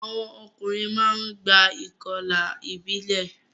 Àwọn ọkùnrin máa ń gba ìkọlà ìbílẹ̀.